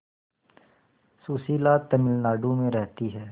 सुशीला तमिलनाडु में रहती है